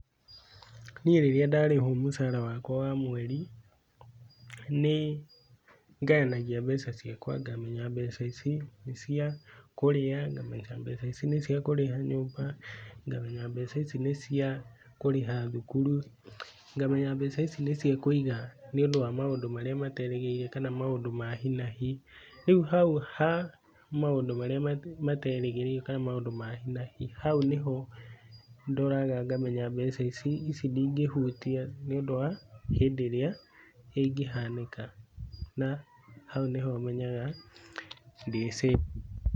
Niĩ rĩrĩa ndarĩhwo mũcara wakwa wa mweri nĩ ngayanagia mbeca ciakwa ngamenya mbeca ici nĩ cia kũrĩa, mbeca ici nĩ cia kũrĩha nyũmba, ngamenya mbeca ici nĩ cia kũrĩha thukuru, ngamenya mbeca ici nĩ cia kũiga nĩ ũndũ wa maũndũ marĩa materĩgĩrĩire kana maũndũ ma hinahi rĩu ha maũndũ marĩa materĩgĩrĩirwo kana maũndũ ma hinahi hau nĩho ndoraga ngamenya mbeca ici, ici ndingĩhutia nĩ ũndũ wa hĩndĩ ĩrĩa ĩngĩhanĩka na hau nĩho menyaga ndĩ safe.